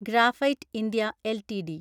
graphite India LTD